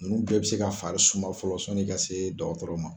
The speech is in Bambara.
Nunnu bɛɛ bɛ se ka fari suman fɔlɔ sɔni ka se dɔgɔtɔrɔ ma.